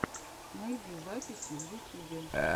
найди записи в ютюбе